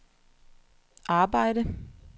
arbejde